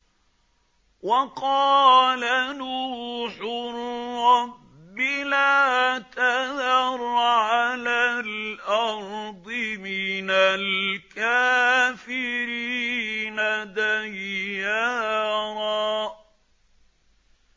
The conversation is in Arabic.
وَقَالَ نُوحٌ رَّبِّ لَا تَذَرْ عَلَى الْأَرْضِ مِنَ الْكَافِرِينَ دَيَّارًا